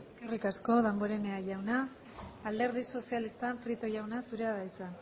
eskerrik asko damborenea jauna alderdi sozialista prieto jauna zurea da hitza